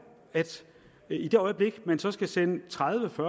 at i det øjeblik man så skal sende tredivetusind